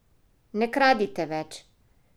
Ne kradite več!